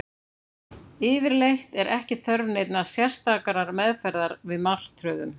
Yfirleitt er ekki þörf neinnar sérstakrar meðferðar við martröðum.